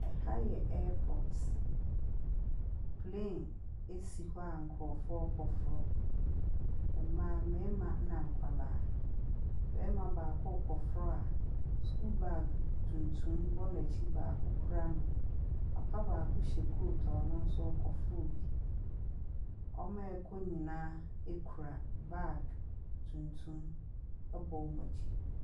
Ha yɛ airpot. Plane si hɔ a nkurɔfoɔ rekɔforo. Mmaa, mmarima na nkwadaa. Barima no baako rekɔforo a sukuu baage tuntum bɔ n'akyi, baako kura no. papa baako hyɛ coat a ɔno nso rekɔforo bi. Wɔn a wɔrekɔ nyinaa kura bag tuntum, bɔ wɔn akyi.